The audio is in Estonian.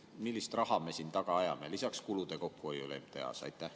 Millist summat me taga ajame lisaks kulude kokkuhoiule MTA-s?